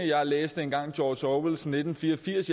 jeg læste engang george orwells nitten fire og firs